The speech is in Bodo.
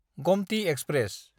गमथि एक्सप्रेस